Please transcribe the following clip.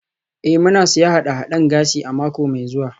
Ee, muna siyan haɗe-haɗen gashi a mako mai zuwa.